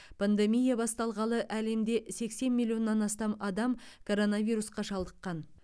пандемия басталғалы әлемде сексен миллионнан астам адам коронавирусқа шалдыққан